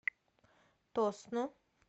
тосно